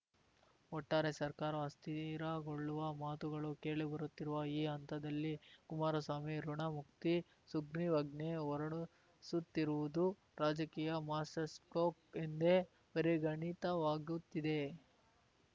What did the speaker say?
ಒಟ್ಟಾರೆ ಸರ್ಕಾರ ಅಸ್ಥಿರಗೊಳ್ಳುವ ಮಾತುಗಳು ಕೇಳಿಬರುತ್ತಿರುವ ಈ ಹಂತದಲ್ಲಿ ಕುಮಾರಸ್ವಾಮಿ ಋಣಮುಕ್ತಿ ಸುಗ್ರೀವಾಜ್ಞೆ ಹೊರಡಿಸುತ್ತಿರುವುದು ರಾಜಕೀಯ ಮಾಸ್ಟರ್‌ಸ್ಕೊಪ್ ಎಂದೇ ಪರಿಗಣಿತವಾಗುತ್ತಿದೆ